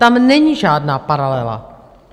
Tam není žádná paralela.